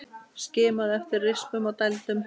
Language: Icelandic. Skimaðu eftir rispum og dældum.